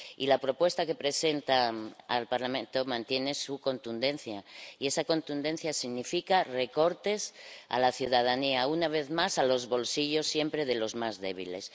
Y la propuesta que presenta al Parlamento mantiene su contundencia, y esa contundencia significa recortes a la ciudadanía, una vez más siempre a los bolsillos de los más débiles.